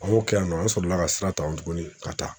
A b'o kɛ yen nɔ an sɔrɔla ka sira ta o tuguni ka taa